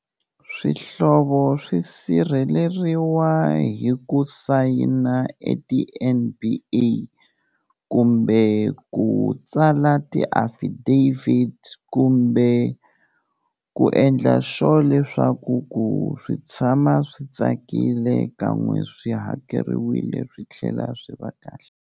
Swihlovo swi sirheleriwa hi ku sayina e ti-N_B_A kumbe ku tsala ti-affidavit kumbe ku endla sure leswaku ku swi tshama swi tsakile ka n'we swi hakeriwile swi tlhela swi va kahle.